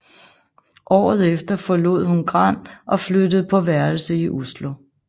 Året efter forlod hun Gran og flyttede på værelse i Oslo